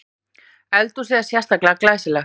Eldhúsið er sérlega glæsilegt